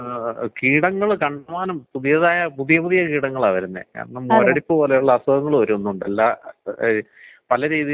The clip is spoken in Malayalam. അവിടെ ഈ ഈ ഒരു സീസൺ വിത്യാസം വരണ സമയത്ത് ഈ എന്താണ് തൊലിപ്പൊറത്തുള്ള രോഗങ്ങള് അങ്ങനയില്ലേ, കാണാറില്ലേ?